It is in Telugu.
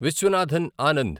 విశ్వనాథన్ ఆనంద్